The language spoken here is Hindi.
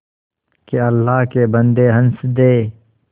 के अल्लाह के बन्दे हंस दे